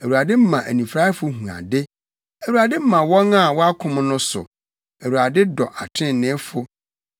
Awurade ma anifuraefo hu ade. Awurade ma wɔn a wɔakom no so, Awurade dɔ atreneefo.